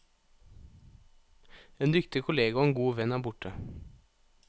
En dyktig kollega og en god venn er borte.